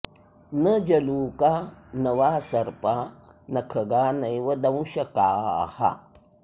न जलूका न वा सर्पा नखगा नैव दंशकाः